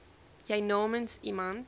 jy namens iemand